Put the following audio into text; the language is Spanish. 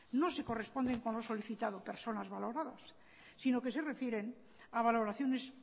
no se corresponde con lo solicitado personas valoradas sino que se refieren a valoraciones